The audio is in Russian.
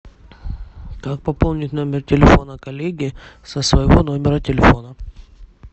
как пополнить номер телефона коллеги со своего номера телефона